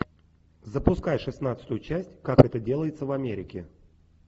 запускай шестнадцатую часть как это делается в америке